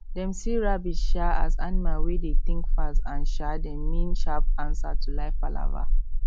dem see rabbit um as animal wey dey think fast and um dem mean sharp answer to life palava